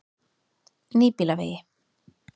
Nýbýlavegi